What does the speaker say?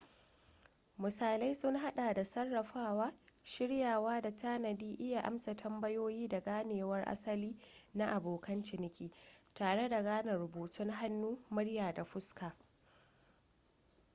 misalai sun hada da sarrafawa shiryawa da tanadi iya amsa tambayoyi da ganewar asali na abokan ciniki tare da gane rubutun hannu murya da fuska